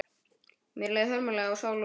Mér leið hörmulega á sál og líkama.